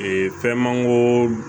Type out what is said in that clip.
fɛn manko